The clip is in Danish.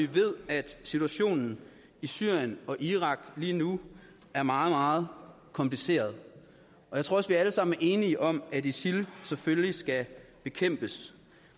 ved at situationen i syrien og irak lige nu er meget meget kompliceret og jeg tror også vi alle sammen er enige om at isil selvfølgelig skal bekæmpes